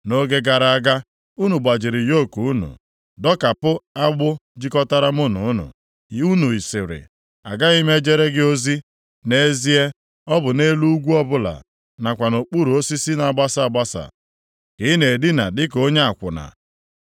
“Nʼoge gara aga, unu gbajiri yoku unu dọkapụ agbụ jikọtara mụ na unu, unu sịrị, ‘Agaghị m ejere gị ozi.’ Nʼezie, ọ bụ nʼelu ugwu ọbụla nakwa nʼokpuru osisi na-agbasa agbasa, ka ị na-edina dịka onye akwụna.